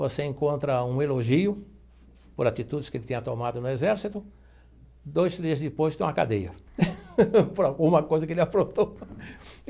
Você encontra um elogio por atitudes que ele tinha tomado no exército, dois dias depois tem uma cadeia por alguma coisa que ele aprontou.